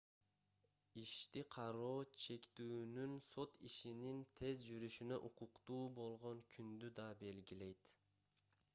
ишти кароо шектүүнүн сот ишинин тез жүрүшүнө укуктуу болгон күндү да белгилейт